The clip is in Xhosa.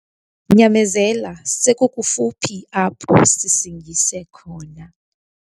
Nyamezela sekukufuphi apho sisingise khona.